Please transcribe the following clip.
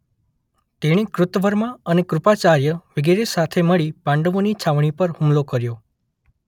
તેણે કૃતવર્મા અને કૃપાચાર્ય વિગેરે સાથે મળી પાંડવોની છાવણી પર હુમલો કર્યો.